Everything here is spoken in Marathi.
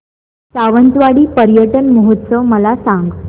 सावंतवाडी पर्यटन महोत्सव मला सांग